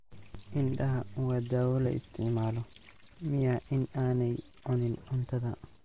Indhaha waa daawo la isticmaalo miya in aanay cunin cuntada